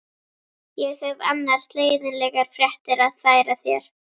Ég hef annars leiðinlegar fréttir að færa þér.